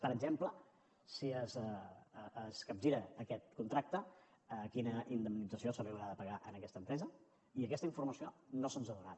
per exemple si es capgira aquest contracte quina indemnització se li haurà de pagar a aquesta empresa i aquesta informació no se’ns ha donat